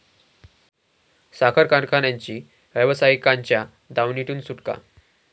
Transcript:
साखर कारखानांची व्यावसायिकांच्या दावणीतून सुटका